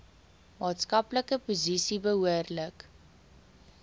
maatskaplike posisie behoorlik